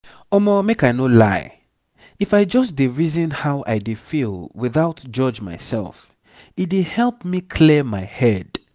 omo make i no lie if i just dey reason how i dey feel without judge myself e dey help me clear my head